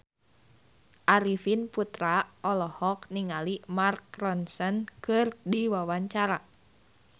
Arifin Putra olohok ningali Mark Ronson keur diwawancara